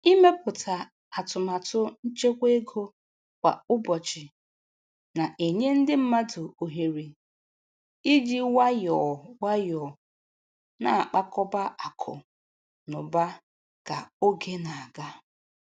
Ịmepụta atụmatụ nchekwa ego kwa ụbọchị na-enye ndị mmadụ ohere iji nwayọọ nwayọọ na-akpakọba akụ na ụba ka oge na-aga.